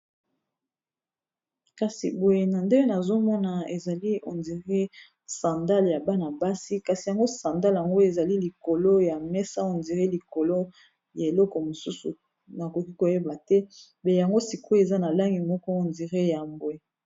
kasi boye na nde nazomona ezali ondire sandale ya bana-basi kasi yango sandale yango ezali likolo ya mesa ondire likolo ya eloko mosusu nakoki koyeba te be yango sikoe eza na langi moko ondire ya mbwe